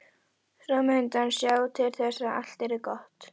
Svo mundi hann sjá til þess að allt yrði gott.